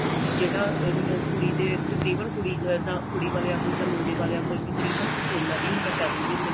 ਜਿਹੜਾ ਅਹ ਕੁੜੀ ਦੇ ਤਕਰੀਬਨ ਕੁੜੀ ਵਾਲਿਆਂ ਕੋਲ ਜਾਂ ਮੁੰਡੇ ਵਾਲਿਆਂ ਕੋਲ ਤਕਰੀਬਨ ਸੋਨਾ ਵੀ ਹੁੰਦਾ ਪੈਸੇ ਵੀ ਹੁੰਦੇ ਨੇ